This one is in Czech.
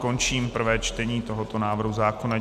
Končím prvé čtení tohoto návrhu zákona.